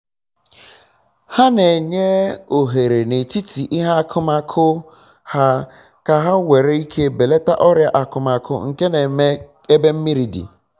ha na enye ohere na etiti ihe akụmakụ ha ka ha nwere ike belata ọrịa akụmakụ nke na-eme ebe mmiri di